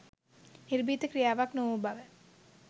නිර්භීත ක්‍රියාවක් නොවූ බව